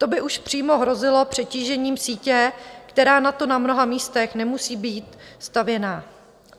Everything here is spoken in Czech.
To by už přímo hrozilo přetížením sítě, která na to na mnoha místech nemusí být stavěná.